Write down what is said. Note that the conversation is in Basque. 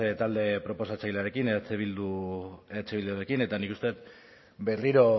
talde proposatzailearekin eh bildurekin eta nik uste dut berriro